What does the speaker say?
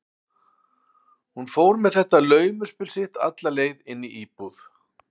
Hún fór með þetta laumuspil sitt alla leið inn í íbúð